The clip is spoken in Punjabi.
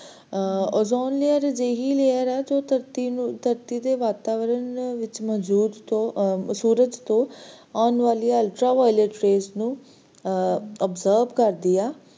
ਅਰ ozone layer ਇਕ ਅਜੇਹੀ layer ਹੈ, ਜੋ ਧਰਤੀ ਨੂੰ ਧਰਤੀ ਦੇ ਵਾਤਾਵਰਣ ਵਿਚ ਮੌਜੂਦ ਜੋ ਸੂਰਜ ਤੋਂ ਆਉਣ ਵਾਲਿਆਂ ultraviolet rays ਨੂੰ absorb ਕਰਦੀ ਆ